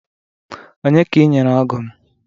Onye ka ị nyere ọgụ m?